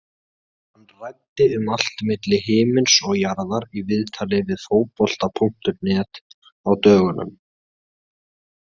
Hann ræddi um allt milli himins og jarðar í viðtali við Fótbolta.net á dögunum.